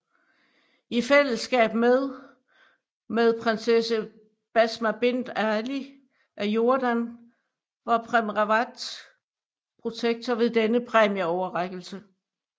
I fællesskab med med Prinsesse Basma Bint Ali af Jordan var Prem Rawat protektor ved denne præmieoverrækkelse